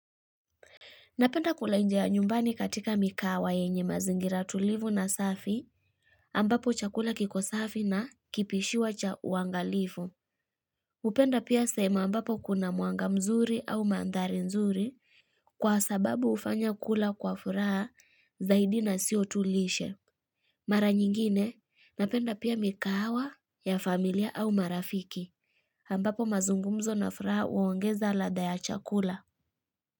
Napenda kulejea nyumbani katika mikawa yenye mazingira tulivu na safi ambapo chakula kiko safi na kipishiwa cha uangalivu. Hupenda pia sehemu ambapo kuna mwanga mzuri au mandhari nzuri kwa sababu hufanya kula kwa furaha zaidi na sio tu lishe. Mara nyingine napenda pia mikahawa ya familia au marafiki ambapo mazungumzo na furaha huongeza ladha ya chakula.